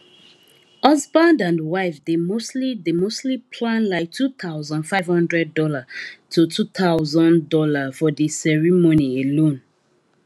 husband and wife dey mostly dey mostly plan like two thousand five hundred dollar to two thousand dollar for the ceremony alone